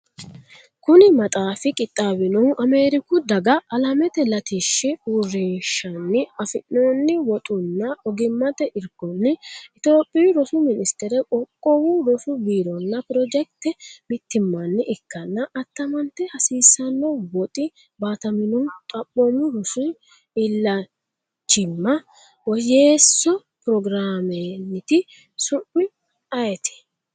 Kuni maxaafi qixxaawinohu Ameeriku Daga Alamete Latishshi Uurrinshanni afi’noonni woxunna ogimmate irkonni, Itophiyu Rosu Ministere , Qoqqowu Rosu Biironna pirojekite mittimmanni ikkanna, attamate hasiisanno woxi baataminohu Xaphoomu Rosi Isilanchimma Woyyeesso Pirogiraamenniiti sumi ayiti?